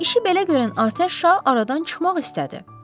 İşi belə görən Atəş şah aradan çıxmaq istədi.